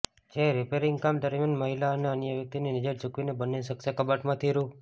જે રીપેરીંગ કામ દરમીયાન મહિલા અને અન્ય વ્યકિતની નજર ચુકવીને બંને શખ્સે કબાટમાંથી રૂ